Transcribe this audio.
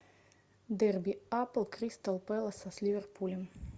дерби апл кристал пэласа с ливерпулем